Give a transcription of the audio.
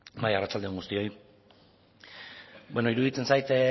bai arratsaldeon guztioi bueno iruditzen zait